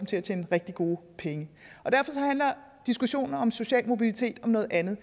til at tjene rigtig gode penge derfor handler diskussionen om social mobilitet om noget andet